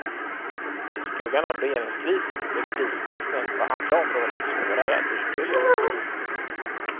I skuggan av regeringskrisen blir kristecknen på andra områden svårare att urskilja.